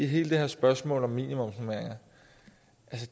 hele det her spørgsmål om minimumsnormeringer